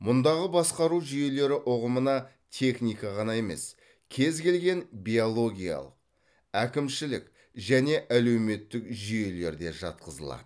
мұндағы басқару жүйелері ұғымына техника қана емес кез келген биологиялық әкімшілік және әлеуметтік жүйелер де жатқызылады